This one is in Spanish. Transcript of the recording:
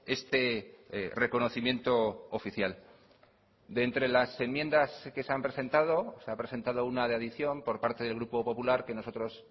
este reconocimiento oficial de entre las enmiendas que se han presentado se ha presentado una adición por parte del grupo popular que nosotros